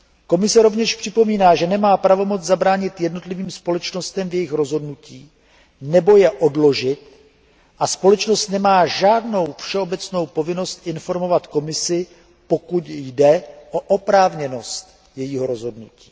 Komise rovněž připomíná, že nemá pravomoc zabránit jednotlivým společnostem v jejich rozhodnutích nebo je odložit a společnosti nemají žádnou všeobecnou povinnost informovat Komisi, pokud jde o oprávněnost jejich rozhodnutí.